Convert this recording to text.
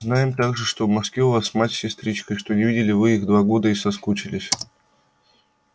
знаем также что в москве у вас мать с сестричкой что не видели вы их два года и соскучились